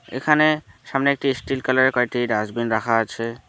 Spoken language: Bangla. এখানে সামনে একটি স্টিল কালারের কয়েকটি ডাস্টবিন রাখা আছে।